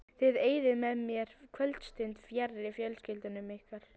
Þið eyðið með mér kvöldstund fjarri fjölskyldum ykkar.